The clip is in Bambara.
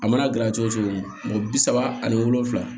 A mana gilan cogo o cogo mɔgɔ bi saba ani wolonfila